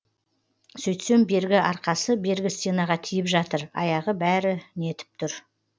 сөйтсем бергі арқасы бергі стенаға тиіп жатыр аяғы бәрі нетіп тұр